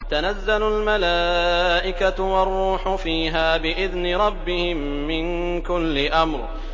تَنَزَّلُ الْمَلَائِكَةُ وَالرُّوحُ فِيهَا بِإِذْنِ رَبِّهِم مِّن كُلِّ أَمْرٍ